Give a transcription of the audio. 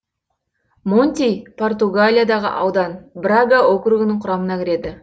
монти португалиядағы аудан брага округінің құрамына кіреді